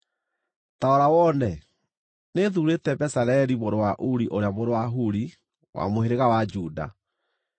“Ta rora wone, nĩthuurĩte Bezaleli mũrũ wa Uri ũrĩa mũriũ wa Huri wa mũhĩrĩga wa Juda,